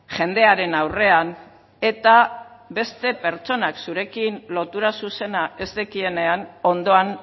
jendearen aurrean eta beste pertsonak zurekin lotura zuzena ez dekienean ondoan